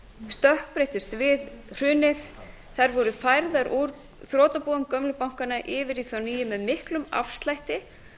stökkbreyttust við hrunið þær voru færðar úr þrotabúum gömlu bankanna yfir í þá nýju með miklum afslætti